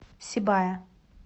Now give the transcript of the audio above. сибая